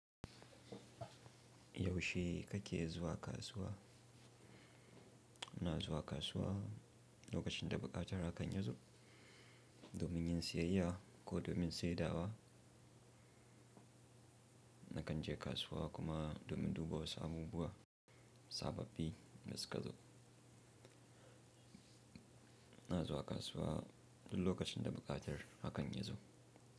Yaushe kake zuwa kasuwa? Na zuwa kasuwa lokacin da buƙatar hakan ya zo, domin yin siyayya ko domin saye dawa. Nakan je kasuwa kuma domin duba wasu abubuwa, sababbi, da suka zo. Na zuwa kasuwa duk lokacin da buƙatar hakan ya zo.